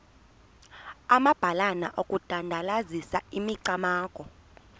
amabalana okudandalazisa imicamango